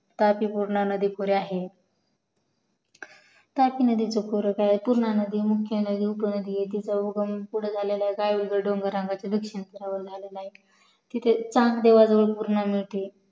तापी पूर्णा नदी पुढे आहे त्याच नदीचा पुढं काय तर पूर्णा नदी मुख्य नदी तिथे चांग देवाजवळ पूर्ण मिळते